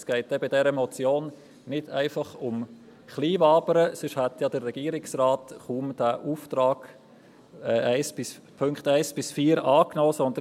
Es geht in dieser Motion eben nicht nur um Kleinwabern, sonst hätte ja der Regierungsrat die Aufträge in den Punkten 1 bis 4 nicht angenommen.